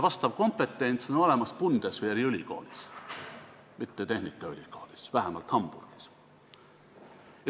Vastav kompetents on olemas Bundeswehri ülikoolis, mitte tehnikaülikoolis, vähemalt Hamburgis.